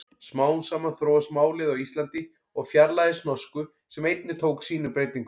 Smám saman þróast málið á Íslandi og fjarlægist norsku sem einnig tók sínum breytingum.